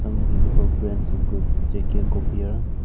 some visible plants include J_K copier.